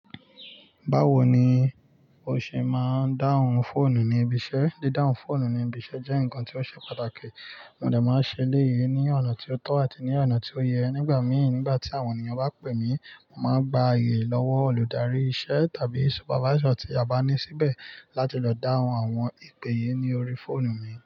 Báwo ni o ṣe máa ń dáhùn fóònù ní ibi iṣẹ́? Dídáhun fóònù ní ibi iṣẹ́ jẹ́ nǹkan tí ó ṣe pàtàkì. Mo dà máa ń ṣe léyé ní ọ̀nà tó tọ́ àti ní ọ̀nà tó yẹ. Nígbà míì, nígbà tí àwọn ènìyàn bá pè mí, mo màá gba aye lọ́wọ́ olùdarí ìṣe tàbí súpávaísọ̀ tí a bá ní síbẹ̀ láti lọ dáhùn àwọn ìpè yìí ní orí fóònù mi.